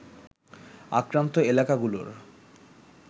আক্রান্ত এলাকাগুলোর